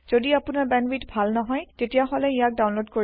যদি আপোনাৰ বেন্দৱিথ ভাল নহয় তেতিয়াহলে ইয়াক ডাউনলোদ কৰিও চাব পাৰে